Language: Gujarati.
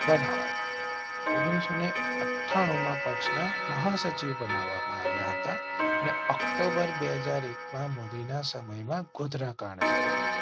ઓગણીસો અઠ્ઠા ણું માં પક્ષના મહાસચિવ બનાવવા માં આવ્યા હતા ને ઓક્ટોબર બે હાજર એક મોદી ના સમય માં ગોધરાકાંડ થયો હતો.